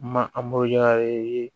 Ma